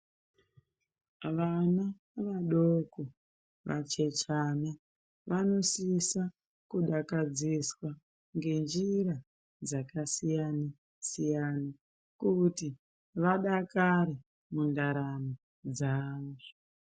Vana vadoko vachechani vanosisa kudakadziswa ngenjira dzakasiyana siyana kuti vadakare mundaramo dzavo.